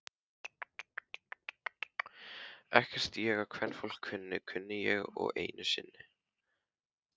Ekkert ég á kvenfólk kunni, konunni ég einni unni.